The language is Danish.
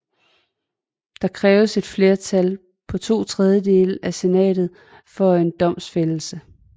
Der kræves et flertal på to tredjedele i senatet for en domfældelse